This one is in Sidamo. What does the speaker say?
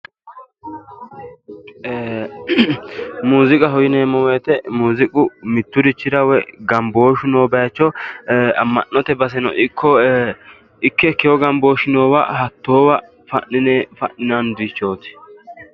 Ee muuziiqaho yineemmo wote muuziiqu mitturichira woy gambooshshu noo bayiicho amma'note baseno ikko ike ikewu gambooshshu noowa hattoowa fa'ninanirichooti.